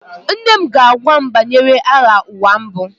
Nne m ga-agwa m banyere Agha Ụwa Mbụ